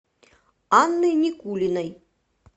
анной никулиной